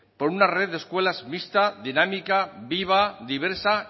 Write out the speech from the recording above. por una red de escuelas mixta dinámica viva diversa